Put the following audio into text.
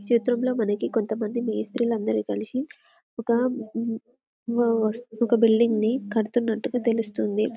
ఈ చిత్రంలో మనకి కొంతమంది మేస్త్రీలు అందరూ కలిసి ఒక మ్ వస్తు ఒక బిల్డింగ్ ని కడుతున్నట్టు గ తెలుస్తుంది.